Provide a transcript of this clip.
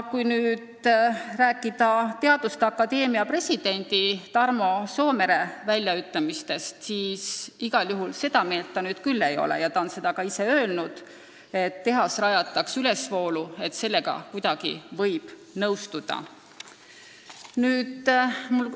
Teaduste akadeemia president Tarmo Soomere on öelnud, et seda meelt ta küll ei ole, et tehase võib rajada Tartust ülesvoolu, et sellega võib nõustuda.